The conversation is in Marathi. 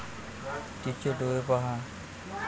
तिचे डोळे पहा.